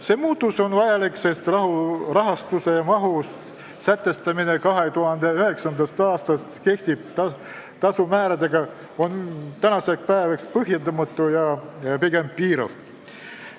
See muutus on vajalik, sest rahastuse mahu sätestamine 2009. aastast kehtivate tasumääradega on tänaseks päevaks põhjendamatu ja pigem piirav.